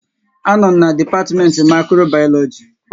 A nọ m n'dipatimenti Mikrobayoloji